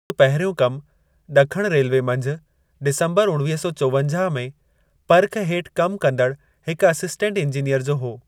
हुन जो पहिरियों कमु ॾखणु रेलवे मंझि डिसंबरु उणिवीह सौ चोवंजाह में पर्ख हेठि कमु कंदड़ु हिकु असिस्टेंट इंजीनियर जो हो।